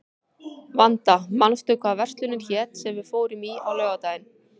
Vanda, manstu hvað verslunin hét sem við fórum í á laugardaginn?